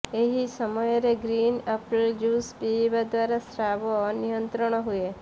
ଏହି ସମୟରେ green apple juice ପିଇବା ଦ୍ୱାରା ସ୍ରାବ ନିୟନ୍ତ୍ରଣ ହୁଏ